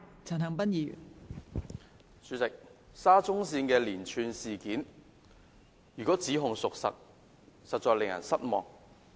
代理主席，沙田至中環線的連串事件，如果指控屬實，實在令人失望。